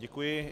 Děkuji.